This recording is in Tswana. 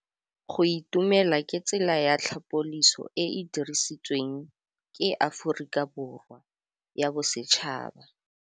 Go itumela ke tsela ya tlhapolisô e e dirisitsweng ke Aforika Borwa ya Bosetšhaba.